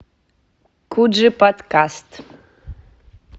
куджи подкаст